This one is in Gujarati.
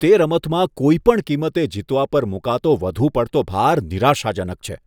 તે રમતમાં કોઈપણ કિંમતે જીતવા પર મૂકાતો વધુ પડતો ભાર નિરાશાજનક છે.